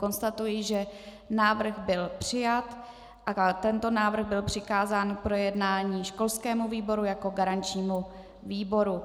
Konstatuji, že návrh byl přijat a tento návrh byl přikázán k projednání školskému výboru jako garančnímu výboru.